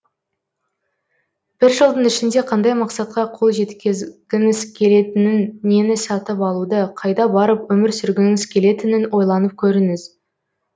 бір жылдың ішінде қандай мақсатқа қол жеткезгіңіз келетінін нені сатып алуды қайда барып өмір сүргіңіз келетінін ойланып көріңіз